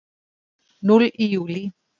Núll í júlí